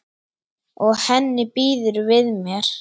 Og henni býður við mér.